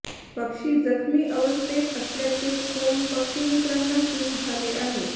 पक्षी जखमी अवस्थेत असल्याचे फोन पक्षिमित्रांना सुरू झाले आहेत